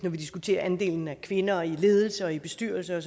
vi diskuterer andelen af kvinder i ledelser og i bestyrelser